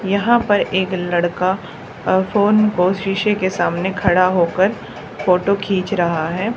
यहां पर एक लड़का अ फोन को शीशे के सामने खड़ा होकर फोटो खींच रहा है।